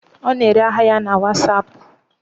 Ọ na-ere ahịa ya na wasapụ.